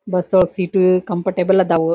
Bus ಒಳಗ್ seat comfortable ಅದಾವು.